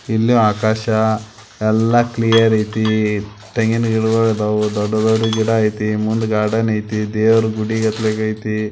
ಇಲ್ಲಿ ಆಕಾಶ ಎಲ್ಲಾ ಕ್ಲಿಯರ್ ಐತಿ ತೆಂಗಿನ ಗಿಡಗೋಲ್ ಇದಾವು ಡೊಡು ಡೊಡು ಗಿಡ ಐತಿ ಮುಂದ ಗಾರ್ಡನ್ ಐತಿ ದೇವರ ಗುಡಿಗತೆ ಐತಿ.